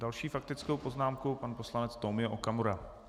Další faktickou poznámkou pan poslanec Tomio Okamura.